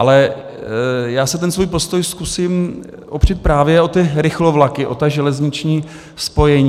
Ale já si ten svůj postoj zkusím opřít právě o ty rychlovlaky, o ta železniční spojení.